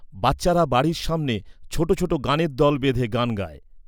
বাচ্চারা বাড়ির সামনে ছোট ছোট গানের দল বেঁধে গান গায়।